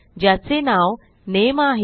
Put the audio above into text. ज्याचे नाव नामे आहे